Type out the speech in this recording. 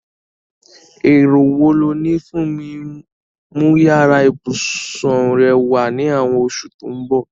Èrò wo loní fun mi mú yàrá ibùsùn rẹwà ni àwon osù to n bò